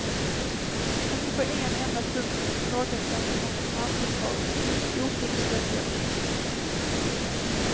Inte på en enda punkt ifrågasatte hon brandförsvarets mycket ofullständiga betänkande.